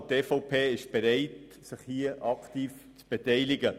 Die EVP ist bereit, sich aktiv zu beteiligen.